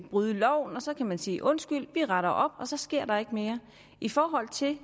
bryde loven og så kan den sige undskyld vi retter op og så sker der ikke mere i forhold til